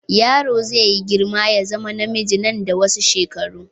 Yaro zai yi girma ya zama namiji nan da wasu shekaru.